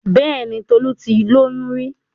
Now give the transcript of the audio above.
Bẹ́ẹ̀ni Tolu ti lóyún rí?